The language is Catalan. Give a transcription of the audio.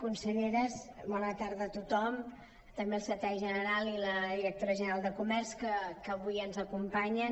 conselleres bona tarda a tothom també al secretari general i a la directora general de comerç que avui ens acompanyen